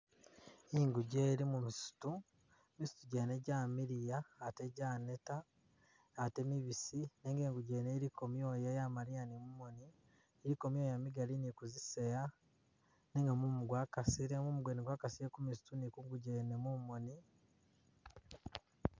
Ingugye ili mumisitu, misitu gyene gyamiliya ate gyaneta ate mubisi nenga ingugye yene iliko myooya yamaliya ni mumoni iliko myoya migali ni kuziseya nenga mumu gwakasile. mumu gwene gwakasile kumisitu ni kungugye yene mumoni